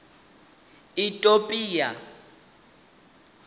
itopia